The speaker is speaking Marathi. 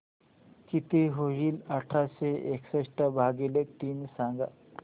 किती होईल आठशे एकसष्ट भागीले तीन सांगा